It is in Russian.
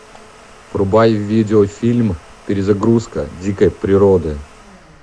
врубай видеофильм перезагрузка дикой природы